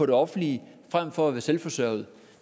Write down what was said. det offentlige fremfor at være selvforsørgende